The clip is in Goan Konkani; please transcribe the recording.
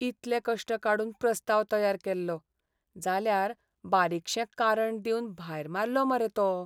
इतले कश्ट काडून प्रस्ताव तयार केल्लो, जाल्यार बारीकशें कारण दिवन भायर मारलो मरे तो!